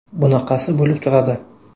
Bunaqasi bo‘lib turadi.